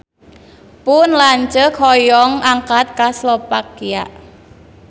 Pun lanceuk hoyong angkat ka Slovakia